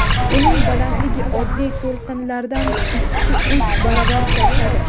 Uning balandligi oddiy to‘lqinlardan ikkiuch baravar kattadir.